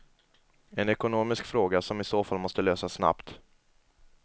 En ekonomisk fråga som i så fall måste lösas snabbt.